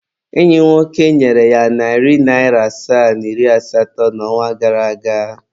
Enyi m nwoke nyere ya narị naịra asaa na iri asatọ n'ọnwa gara aga.